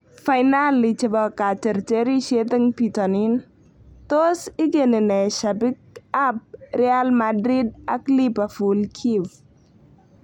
Fainali chebo kateterishiet eng bitonin: tos igeni ne shabik ab Real Madrid ak Liverpool Kiev?